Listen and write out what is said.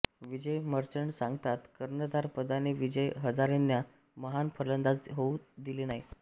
विजय मर्चंट सांगतात कर्णधार पदाने विजय हजारेंना महान फलंदाज होऊ दिले नाही